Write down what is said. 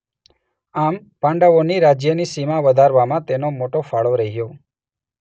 આમ પાંડવોના રાજ્યની સીમા વધારવામાં તેનો મોટો ફાળો રહ્યો.